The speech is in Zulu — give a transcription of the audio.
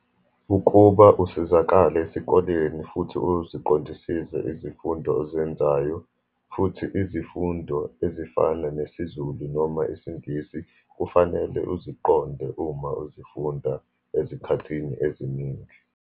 Ukuba usizakale esikoleni, futhi uziqondisise izifundo ozenzayo, futhi izifundo ezifana nesiZulu noma isiNgisi, kufanele uziqonde uma uzifunda ezikhathini eziningi.